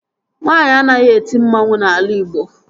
Nwaanyi anaghị eti mmanwu n'ala Ịgbo